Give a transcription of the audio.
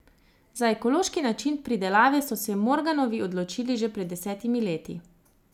Za ekološki način pridelave so se Morganovi odločili že pred desetimi leti.